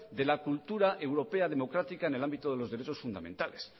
de la cultura europea democrática en el ámbito de los derechos fundamentales